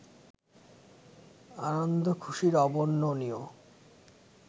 আনন্দ-খুশির অবর্ণনীয়